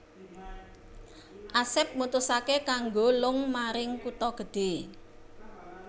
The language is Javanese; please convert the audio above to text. Asep mutusaké kanggo lung maring kutha gedhe